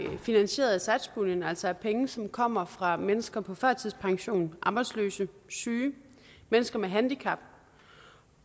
finansieret af satspuljen altså af penge som kommer fra mennesker på førtidspension arbejdsløse syge mennesker med handicap